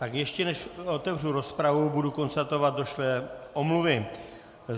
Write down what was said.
Tak ještě než otevřu rozpravu, budu konstatovat došlé omluvy.